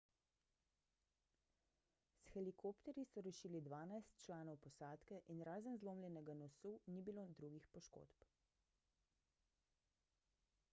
s helikopterji so rešili dvanajst članov posadke in razen zlomljenega nosu ni bilo drugih poškodb